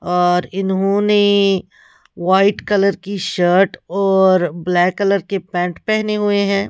और इन्होंने white colour की शर्ट और ब्लैक कलर के पैंट पहने हुए हैं ।